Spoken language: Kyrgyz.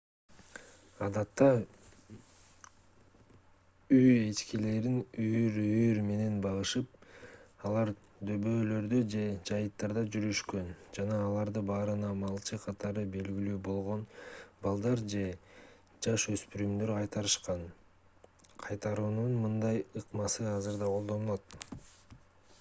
адатта үй эчкилерин үйүр-үйүр менен багышып алар дөбөлөрдө же жайыттарда жүрүшкөн жана аларды баарына малчы катары белгилүү болгон балдар же жаш өспүрүмдөр кайтарышкан кайтаруунун мындай ыкмасы азыр да колдонулат